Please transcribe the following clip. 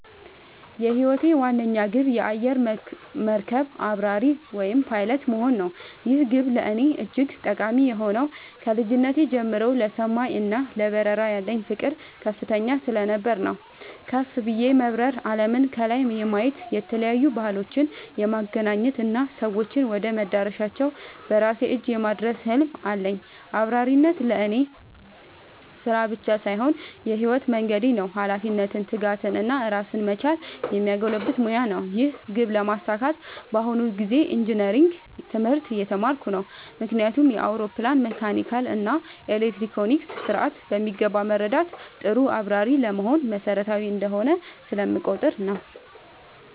የህይወቴ ዋነኛ ግብ የአየር መርከብ አብራሪ (Pilot) መሆን ነው። ይህ ግብ ለእኔ እጅግ ጠቃሚ የሆነው ከልጅነቴ ጀምሮ ለሰማይ እና ለበረራ ያለኝ ፍቅር ከፍተኛ ስለነበር ነው። ከፍ ብዬ በመብረር አለምን ከላይ የማየት፣ የተለያዩ ባህሎችን የማገናኘት እና ሰዎችን ወደ መዳረሻቸው በራሴ እጅ የማድረስ ህልም አለኝ። አብራሪነት ለእኔ ስራ ብቻ ሳይሆን የህይወት መንገዴ ነው - ኃላፊነትን፣ ትጋትን እና ራስን መቻልን የሚያጎለብት ሙያ ነው። ይህን ግብ ለማሳካት በአሁኑ ጊዜ ኢንጂነሪንግ (Engineering) ትምህርት እየተማርኩ ነው። ምክንያቱም የአውሮፕላንን መካኒካል እና ኤሌክትሮኒክስ ስርዓት በሚገባ መረዳት ጥሩ አብራሪ ለመሆን መሰረታዊ እንደሆነ ስለምቆጠር ነው።